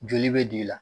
Joli bɛ don i la